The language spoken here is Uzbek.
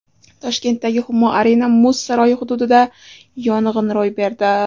Toshkentdagi Humo Arena muz saroyi hududida yong‘in ro‘y berdi.